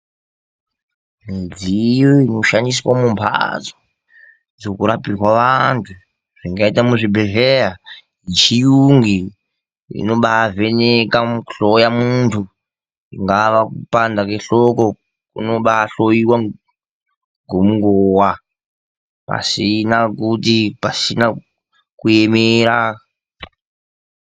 Midziyo inoshandiswa mumhatso dzokurapirwa vantu, zvingaita muzvibhedhlera, yechiyungu iyi inombavheneka, kuhloya muntu. Kungava kupanda kwehloko kunobahloiwa ngonguva pashina kuemera.